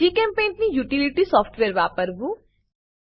જીચેમ્પેઇન્ટ ની utility software વાપરવું